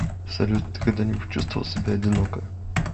салют ты когда нибудь чувствовал себя одиноко